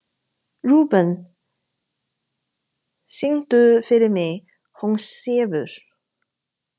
Rúben, syngdu fyrir mig „Hún sefur“.